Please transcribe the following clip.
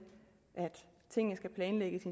tingene skal planlægges